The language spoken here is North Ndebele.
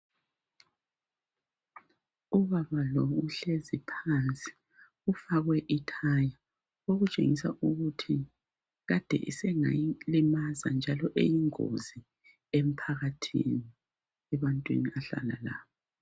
Ubaba lo uhlezi phansi ifakwe ithaya. Okutshengisa ukuthi Kade sengalimaza njalo uyingozi emphakathini kumbe ebantwini ahlala labo.